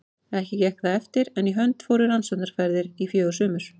Ekki gekk það eftir, en í hönd fóru rannsóknaferðir í fjögur sumur.